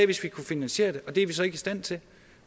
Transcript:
hvis vi kunne finansiere det og det er vi så ikke i stand til